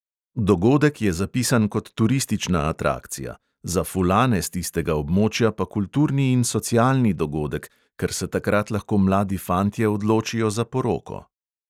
Dogodek je zapisan kot turistična atrakcija, za fulane s tistega območja pa kulturni in socialni dogodek, ker se takrat lahko mladi fantje odločijo za poroko.